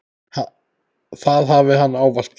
Það hafi hann ávallt gert.